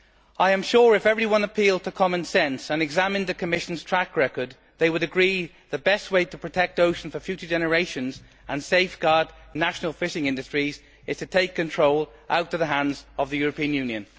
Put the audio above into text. I am sure that if everyone appealed to common sense and examined the Commission's track record they would agree that the best way of protecting the ocean for future generations and safeguarding national fishing industries is to take control out of the hands of the European Union.